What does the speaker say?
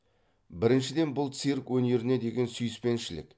біріншіден бұл цирк өнеріне деген сүйіспеншілік